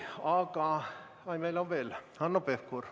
Hanno Pevkur, palun!